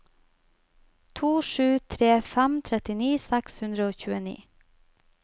to sju tre fem trettini seks hundre og tjueni